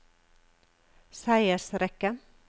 seiersrekke